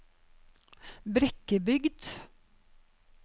Brekkebygd